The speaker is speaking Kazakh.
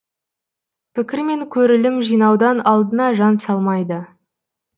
пікір мен көрілім жинаудан алдына жан салмайды